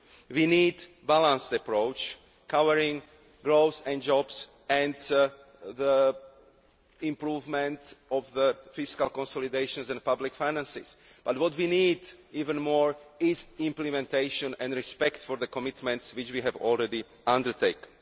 We need a balanced approach, covering growth and jobs and the improvement of fiscal consolidations and public finances, but what we need even more is implementation and respect for the commitments which we have already undertaken.